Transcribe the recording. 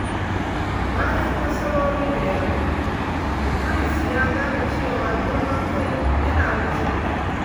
Bayan nasarori da yawa, Idris ya gane cewa girman kai yana rushe mutum.